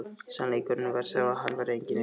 Sannleikurinn var sá að hann var enginn engill!